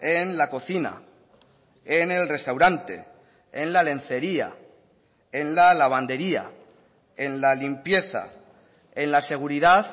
en la cocina en el restaurante en la lencería en la lavandería en la limpieza en la seguridad